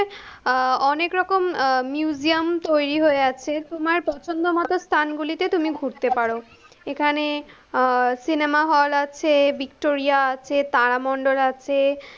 আহ অনেকরকম আহ museum তৈরি হয়ে আছে, তোমার পছন্দমত স্থানগুলিতে তুমি ঘুরতে পারো, এখানে আহ সিনেমাহল আছে, ভিক্টোরিয়া আছে, তারামণ্ডল আছে,